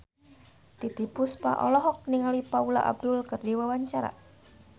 Titiek Puspa olohok ningali Paula Abdul keur diwawancara